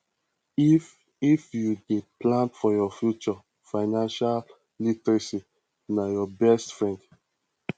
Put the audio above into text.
if if you dey plan for your future financial literacy na your best friend